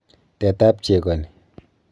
Tetab cheko ni.